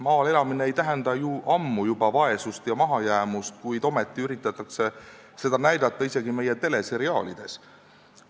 Maal elamine ei tähenda juba ammu vaesust ega mahajäämust, kuid ometi üritatakse seda näidata isegi meie teleseriaalides.